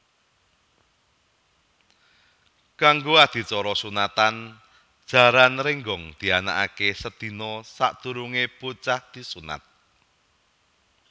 Kanggo adicara sunatan Jaran Rénggong dianakaké sedina sadurungé bocah disunat